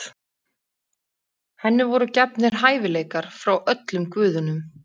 Henni voru gefnir hæfileikar frá öllum guðunum.